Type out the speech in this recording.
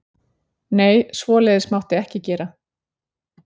Nei, svoleiðis mátti ekki gera.